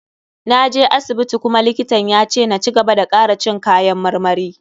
Na je asibiti kuma likitan ya ce na cigaba da kara cin kayan marmari.